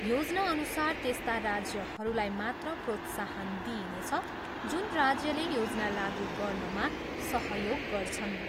योजनाअनुसार त्यस्ता राज्यहरूलाई मात्र प्रोत्साहन दिइनेछ जुन राज्यले योजना लागु गर्नमा सहयोग गर्छन्।